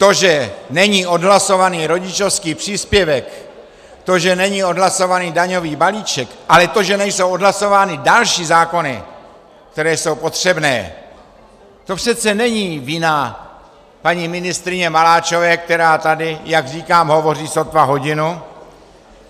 To, že není odhlasovaný rodičovský příspěvek, to, že není odhlasovaný daňový balíček, ale to, že nejsou odhlasovány další zákony, které jsou potřebné, to přece není vina paní ministryně Maláčové, která tady, jak říkám, hovoří sotva hodinu.